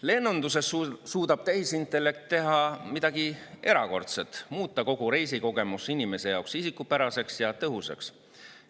Lennunduses suudab tehisintellekt teha midagi erakordset, muuta kogu reisikogemuse inimese jaoks isikupäraseks ja tõhusaks.